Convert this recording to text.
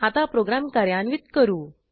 आता प्रोग्रॅम कार्यान्वित करू